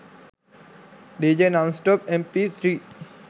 dj non stop mp3